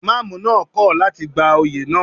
Ìmámúù náà kò láti gba oyè náà.